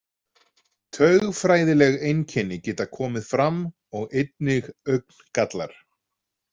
Taugfræðileg einkenni geta komið fram og einnig augngallar.